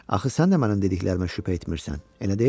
Axı sən də mənim dediklərimə şübhə etmirsən, elə deyilmi?